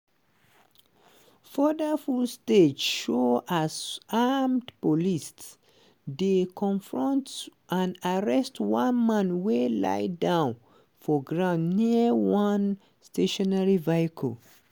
further footage show as armed police dey confront and arrest one man wey lie down for ground near one stationary vehicle.